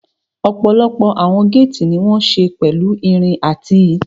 Ọ̀pọ̀lọpọ̀ àwọn géètì ní wọ́n ṣe pẹ̀lú irin àti